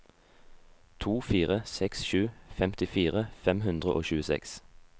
to fire seks sju femtifire fem hundre og tjueseks